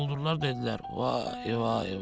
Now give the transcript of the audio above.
Quldurlar dedilər, vay, vay, vay.